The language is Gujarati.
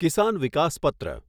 કિસાન વિકાસ પત્ર